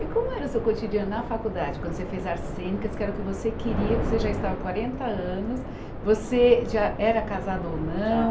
E como era o seu cotidiano na faculdade, quando você fez artes cênicas, que era o que você queria, que você já estava há quarenta anos, você já era casada ou não?